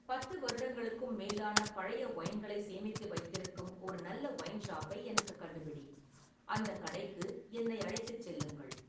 பத்து வருடங்களுக்கும் மேலான பழைய ஒயின்களை சேமித்து வைத்திருக்கும் ஒரு நல்ல ஒயின் ஷாப்பை எனக்குக் கண்டுபிடி, அந்தக் கடைக்கு என்னை அழைத்துச் செல்லுங்கள்